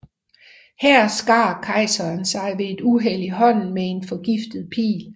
Her skar kejseren sig ved et uheld i hånden med en forgiftet pil